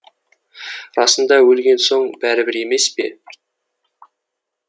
расында өлген соң бәрібір емес пе